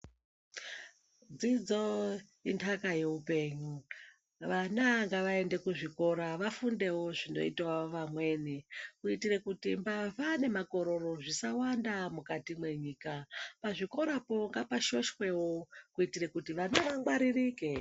Dzidzo inhaka yeupenyu. Vana ngavaende kuzvikora zvinoitawo vamweni kuitire kuti mbavha nemakororo zvisawanda munyika. Pachikorapo ngapashoshwewo kuitira kuti vana vangwaririke.